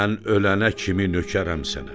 Mən ölənə kimi nökərəm sənə.